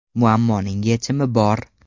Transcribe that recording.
Muammoning yechimi bor!